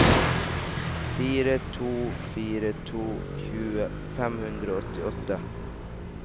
fire to fire to tjue fem hundre og åttiåtte